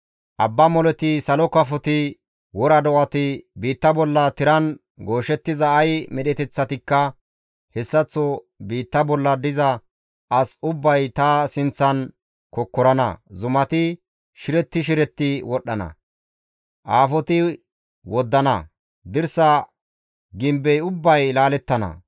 Abba moleti, salo kafoti, wora do7ati, biitta bolla tiran gooshettiza ay medheteththatikka, hessaththo biitta bolla diza as ubbay ta sinththan kokkorana; zumati shiretti shiretti wodhdhana; aafoti woddana; dirsa gimbey ubbay laalettana.